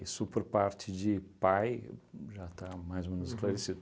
Isso por parte de pai, já está mais ou menos esclarecido.